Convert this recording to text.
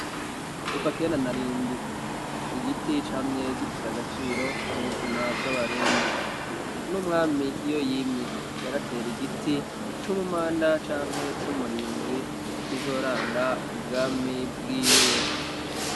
Kuva kera narindi igiti camye gifise agaciro mu buzima bw'abarundi n'umwami iyo yimye yaratera igiti c'umumanda canke c'umurinzi nk'izoranga ubwami bwiwe.